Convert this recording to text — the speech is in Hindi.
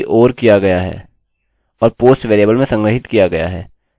और यहाँ वहाँ इसको रखने से काई मतलब नहीं है क्योंकि लोग आपके पासवर्ड को पढ़ सकते हैं